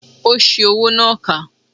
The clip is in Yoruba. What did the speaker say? Ó ṣi owó náà kà